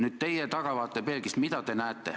Mida te tahavaatepeeglist näete?